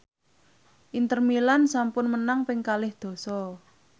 Inter Milan sampun menang ping kalih dasa